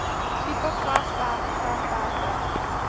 tipe grasperk grasperke